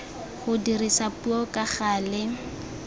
go dirisa puo ka gale